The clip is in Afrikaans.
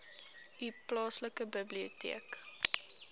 u plaaslike biblioteek